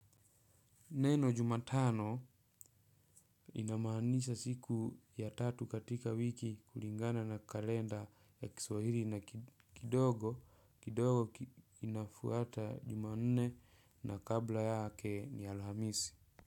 Neno Jumatano inamaanisha siku ya tatu katika wiki kulingana na kalenda ya kiswahili na kidogo, kidogo inafuata Jumanne na kabla yake ni Alhamisi.